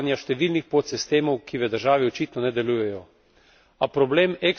To je posledica nedelovanja številnih podsistemov, ki v državi očitno ne delujejo.